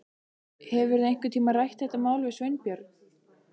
Hefurðu einhvern tíma rætt þetta mál við Sveinbjörn?